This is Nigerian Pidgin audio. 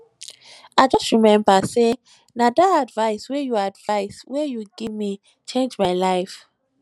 i just rememba sey na dat advice wey you advice wey you give me change my life